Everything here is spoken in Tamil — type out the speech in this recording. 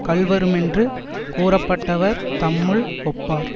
கள்வருமென்று கூறப்பட்டவர் தம்முள் ஒப்பார்